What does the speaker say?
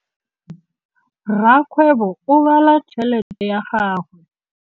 Rakgwêbô o bala tšheletê ya gagwe.